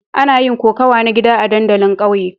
Ana yin kokawa na gida a dandalin ƙauyen.